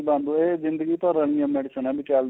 ਨਹੀਂ ਬੰਦ ਇਹ ਜਿੰਦਗੀ ਭਰ ਆਲੀਆਂ medicines ਏ ਚੱਲਦੀਆਂ